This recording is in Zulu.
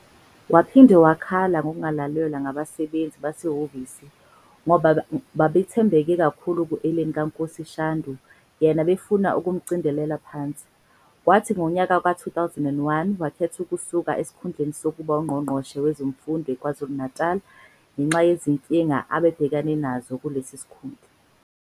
Waphinde wakhala ngokungalalelwa ngabasebenzi basehhovisi ngoba babe bethembeke kakhulu kuEileen KaNkosi Shandu yena befuna ukumdicilela phansi. Kwathi ngonyaka we-2001 wakhetha ukusula esikhundleni sokuba ngungqongqoshe wezemfundo KwaZulu-Natali ngenxa yezinkinga abae ebhekene nazo kulesi sikhundla.